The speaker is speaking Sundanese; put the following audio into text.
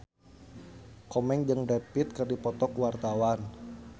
Komeng jeung Brad Pitt keur dipoto ku wartawan